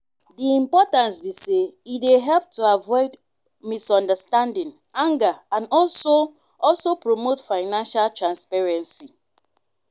di importance be say e dey help to avoid misunderstanding anger and also also promote financial transparency.